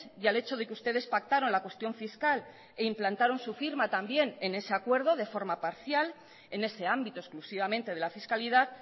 y al hecho de que ustedes pactaron la cuestión fiscal e implantaron su firma también en ese acuerdo de forma parcial en ese ámbito exclusivamente de la fiscalidad